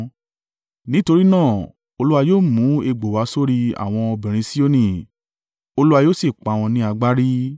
Nítorí náà Olúwa yóò mú egbò wá sórí àwọn obìnrin Sioni, Olúwa yóò sì pá wọn ní agbárí.”